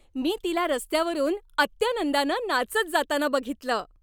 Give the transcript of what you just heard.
मी तिला रस्त्यावरून अत्यानंदानं नाचत जाताना बघितलं.